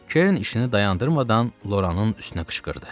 Kern işinə dayanmadan Loranın üstünə qışqırdı.